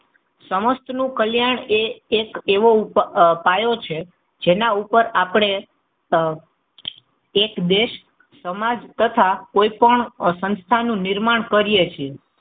સમસ્ત નું કલ્યાણ એ એક એવો પાયો છે જેના ઉપર આપણે આહ એક દેશ સમાજ તથા કોઈ પણ સંસ્થાનું નિર્માણ કરીએ છીએ.